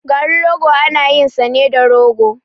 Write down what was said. Garin rogo ana yin sa ne da rogo.